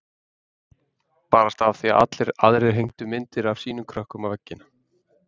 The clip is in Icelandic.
Barasta af því að allir aðrir hengdu myndir af sínum krökkum á veggina.